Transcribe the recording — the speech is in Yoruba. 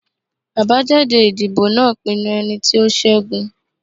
Abajade idibo naa pinnu ẹniti o ṣẹgun